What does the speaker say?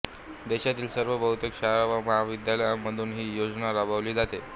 देशातील सर्व बहुतेक शाळा व महाविद्यालयांमधून ही योजना राबवली जाते